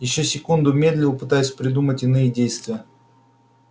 ещё секунду медлил пытаясь придумать иные действия